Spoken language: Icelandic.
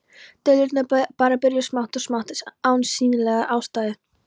Deilurnar bara byrjuðu smátt og smátt án sýnilegrar ástæðu.